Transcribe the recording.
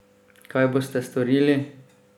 Kaj boste storili?